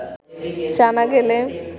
জানা গেলে